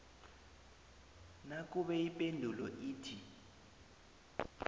nakube ipendulo ithi